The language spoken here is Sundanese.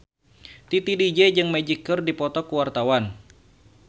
Titi DJ jeung Magic keur dipoto ku wartawan